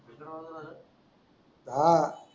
हा